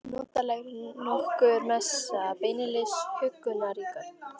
Notalegri en nokkur messa, beinlínis huggunarríkar.